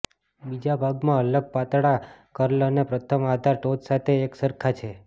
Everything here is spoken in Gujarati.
બીજા ભાગમાં અલગ પાતળા કર્લ અને પ્રથમ આધાર ટોચ સાથે એક સરખા છે